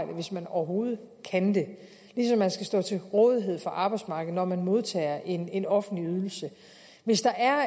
hvis man overhovedet kan det ligesom man skal stå til rådighed for arbejdsmarkedet når man modtager en en offentlig ydelse hvis der er